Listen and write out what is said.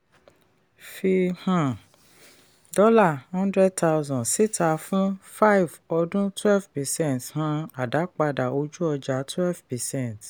fí um dollar hundred thousand síta fún five ọdún twelve percent um àdápadà ojú ọjà twelve percent.